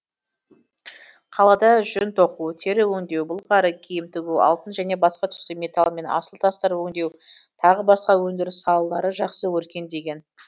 қалада жүн тоқу тері өңдеу былғары киім тігу алтын және басқа түсті металл мен асыл тастар өңдеу тағы басқа өндіріс салалары жақсы өркендеген